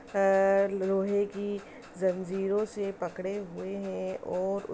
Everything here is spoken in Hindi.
अ लोहे की जंजीरों से पकड़े हुए हैं और --